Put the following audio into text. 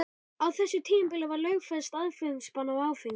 Á þessu tímabili var lögfest aðflutningsbann á áfengi.